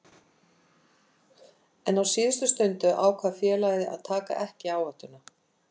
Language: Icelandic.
En á síðustu stundu ákvað félagið að taka ekki áhættuna.